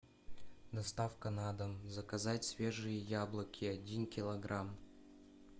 доставка на дом заказать свежие яблоки один килограмм